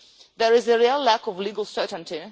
There is a real lack of legal certainty.